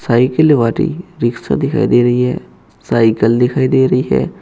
Cycle वाली rickshaw दिखाई दे रही है साइकल दिखाई दे रही है।